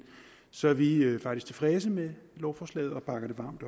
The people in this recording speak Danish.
så vi er faktisk tilfredse med lovforslaget og bakker det varmt